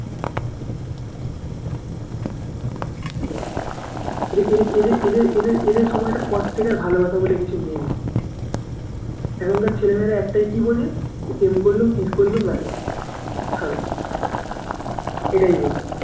এদের এদের এদের সময়টার পর থেকে আর ভালোবাসা বলে কিছু নেই এখনকার ছেলে মেয়েরা একটাই কি বোঝে প্রেম করলুম kiss করলুম এটাই বোঝে